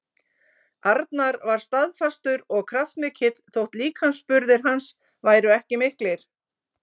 Arnar var staðfastur og kjarkmikill þótt líkamsburðir hans væru ekki miklir.